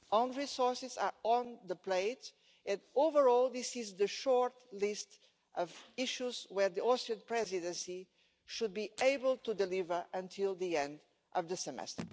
Own resources are on the plate, and overall this is the short list of issues where the Austrian Presidency should be able to deliver until the end of the semester.